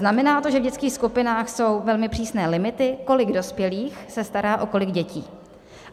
Znamená to, že v dětských skupinách jsou velmi přísné limity, kolik dospělých se stará o kolik dětí.